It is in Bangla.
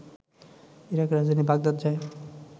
ইরাকের রাজধানী বাগদাদ যায়